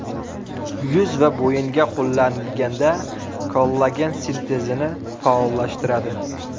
Yuz va bo‘yinga qo‘llanilganda, kollagen sintezini faollashtiradi.